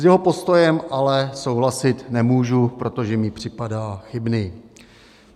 S jeho postojem ale souhlasit nemůžu, protože mi připadá chybný.